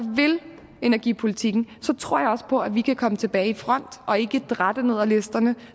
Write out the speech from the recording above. vil energipolitikken så tror jeg også på at vi kan komme tilbage i front og ikke dratte ned ad listerne